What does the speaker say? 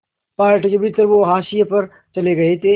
party के भीतर वो हाशिए पर चले गए थे